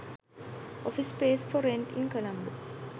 office space for rent in colombo